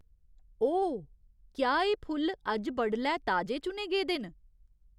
ओह् ! क्या एह् फुल्ल अज्ज बडलै ताजे चुने गेदे न?